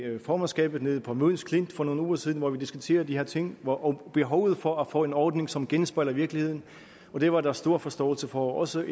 formandskabet nede på møns klint for nogle uger siden hvor vi diskuterede de her ting og behovet for at få en ordning som genspejler virkeligheden og det var der stor forståelse for og også